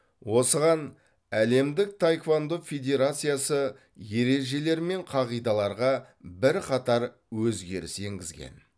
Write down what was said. осыған әлемдік таеквондо федерациясы ережелер мен қағидаларға бірқатар өзгеріс енгізген